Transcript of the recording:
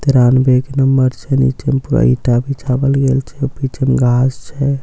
तेरानबे के नंबर छै नीचे मे पूरा ईटा बिछावल गेल छे पीछे मे घास छे--